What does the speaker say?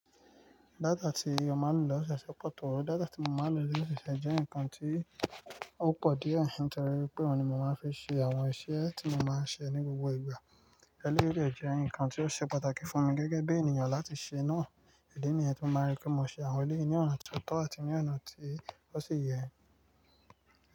Data tí mo máa ń lò l'ose Ose pọ̀ tó. Data tí mo máa ń lò ní ọṣọ ṣe jẹ́ nǹkan tí ó pọ̀ díẹ̀, nítorí pé òun ni mo máa ń fi ṣe àwọn iṣẹ́ tí mo máa ń ṣe ní gbogbo ìgbà. Ẹlẹ́yii dẹ́ nǹkan tí ó ṣe pàtàkì fún mi gẹ́gẹ́ bí ènìyàn láti ṣe náà. Idí nìyen tin máa rí pé mo ṣe àwọn eleyìí ní ọ̀nà tó tọ́ àti ní ọ̀nà tí ó sì yẹ.